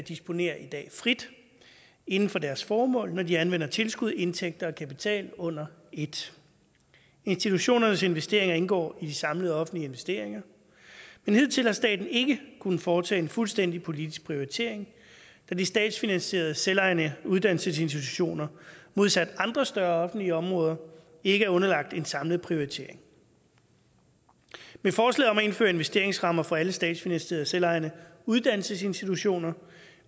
disponerer i dag frit inden for deres formål når de anvender tilskud indtægter og kapital under et institutionernes investeringer indgår i de samlede offentlige investeringer men hidtil har staten ikke kunnet foretage en fuldstændig politisk prioritering da de statsfinansierede selvejende uddannelsesinstitutioner modsat andre større offentlige områder ikke er underlagt en samlet prioritering med forslaget om at indføre investeringsrammer for alle statsfinansierede selvejende uddannelsesinstitutioner